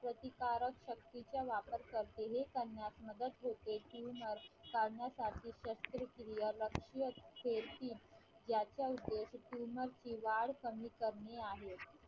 प्रतिकारक शक्तीचा वापर करते हे करण्यास मदत होते किंवा काढण्यासाठी शस्त्रक्रियेला याचा उद्देश पूर्ण वाढ कमी करणे आहे.